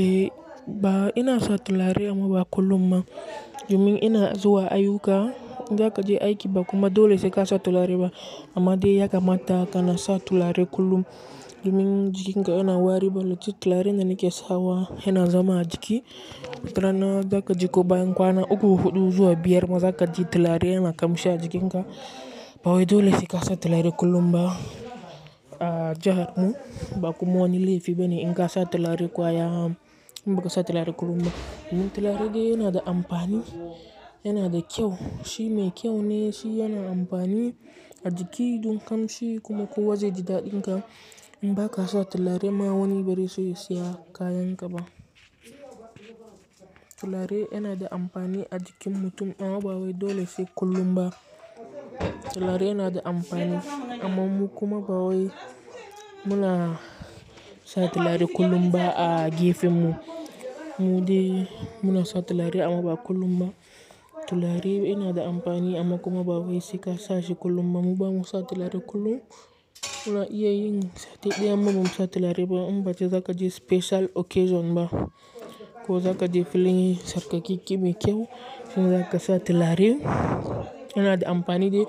Eh ba ina sa turare amma ba kullum ma. Domin ina zuwa aiyuka, zakaji aiki ba kuma dole sai ka sa turare ba. Amma dai yaka mata kana sa turare kullum. Domin jikin ka yana wari ba llacin turare da nake sawa, yana zama a jiki. Watarana zakaji kuma ba'in kwana uku ko huɗu zuwa biyar ma zakaji tulare yana kamshi a jikinka. Ba wai dole sai ka sa turare kullum ba. A jihar mu, ba kuma wani laifi bane in ka sa tulare kwaya in ba ka sa turare kullum ba. Turare dai yana da amfani, yana da kyau, shi mai kyau ne, shi yana amfani a jiki dun kamshi kuma kuwa zai ji daɗi in ka in ba ka sa turare ma wani bare so siya kayanka ba. Turare yana da amfani a jikin mutum amma ba wai dole sai kullum ba. Turare yana da amfani amma mu kuma ba wai muna sa turare kullum ba a gefen mu. Mu dai muna sa turare amma ba kullum ba. Turare yana da amfani amma kuma ba wai sai ka sa shi kullum ba. Mu ba mu sa turare kullum muna iya yin sati ɗaya ba mu sa turare ba. In bace zakaji special occasion ba ko zakaje filin sarkakakke mai kyau, sannan zakasa turare. Yana da amfani dai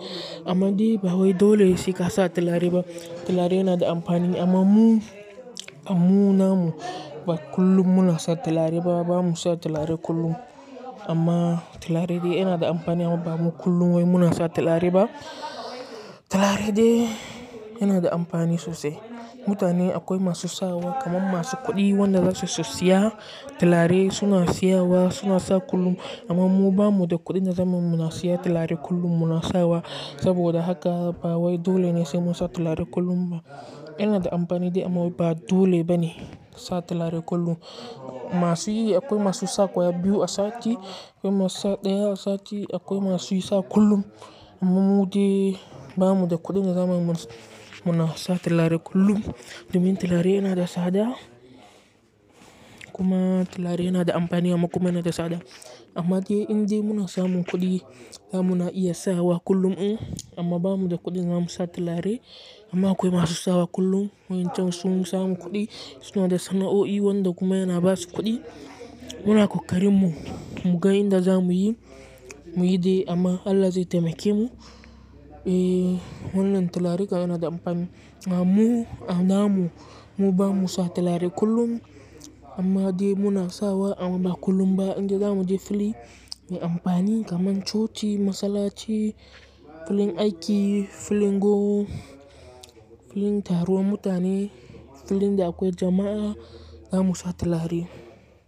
amma dai ba wai dole sai ka sa turare ba. Turare yana da amfani amma mu, am mu namu ba kullum muna sa turare ba, ba mu sa turare kullum. Amma turare dai yana da amfani amma ba mu kullum wai muna sa turare ba. Turare dai yana da amfani sosai. Mutane akwai masu sawa kaman masu kuɗi wanda zasu siyi tulare suna siya wa suna sa kullum. Amma mu ba mu da kuɗin da zama muna siya turare kullum muna sawa saboda haka ba wai dole ne sai mu sa tulare kullum ba. Yana da amfani dai amma ba dole bane sa tulare kullum. Masu yi akwai masu sa kwaya biyu a sati, akwai masu sa ɗaya a sati, akwai masu yi sa kullum. Amma mu dai ba mu da kuɗin da zamu muna sa tulare kullum. Domin turare yana da tsada kuma turare yana da amfani amma kuma yana da tsada. Amma dai in dai muna samun kuɗi za muna iya sawa kullum un. Amma ba mu da kuɗin zamu sa turare amma akwai masu sawa kullum wa incan sun samu kuɗi suna da sana'oi wanda kuma yana basu kuɗi. Muna ƙoƙarin mu, mu ga inda za mu yi, mu yi dai amma Allah zai taimake mu. Eh wannan turare kawai yana da amfani amma mu annana mu, mu ba mu sa turare kullum amma dai muna sawa amma ba kullum ba. In dai za mu je fili mai amfani kaman coci, masallaci, filin aiki, filin golf, filin taruwar mutane, filin da akwai jama'a za mu sa turare.